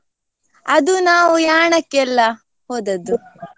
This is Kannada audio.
ಅದು ನಾವು Yaana ಕ್ಕೆಲ್ಲ ಹೋದದ್ದು.